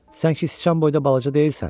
Sən ki sıçan boyda balaca deyilsən.